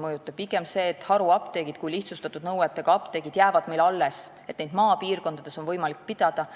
Pigem tagab see, et haruapteegid kui lihtsustatud nõuetega apteegid jäävad alles ja neid on maapiirkondades võimalik pidada,